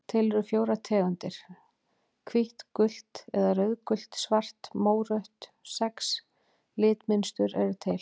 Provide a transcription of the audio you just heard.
Til eru fjórar tegundir lita: hvítt gult eða rauðgult svart mórautt Sex litmynstur eru til.